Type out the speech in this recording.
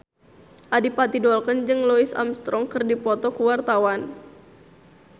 Adipati Dolken jeung Louis Armstrong keur dipoto ku wartawan